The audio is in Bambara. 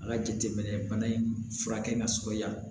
A ka jateminɛ bana in furakɛ ka sɔrɔ yan